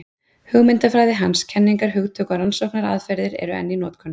Hugmyndafræði hans, kenningar, hugtök og rannsóknaraðferðir eru enn í notkun.